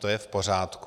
To je v pořádku.